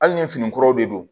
Hali ni fini kuraw de don